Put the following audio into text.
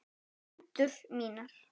Hendur mínar.